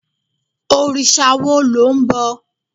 òrìṣà wo lo nbọ